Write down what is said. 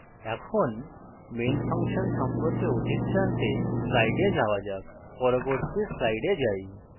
এখন main function সম্পর্কে অধিক জানতে স্লাইডে যাওয়া যাক পরবর্তী স্লাইডে যাই